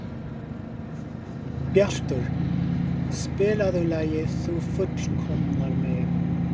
Bjartur, spilaðu lagið „Þú fullkomnar mig“.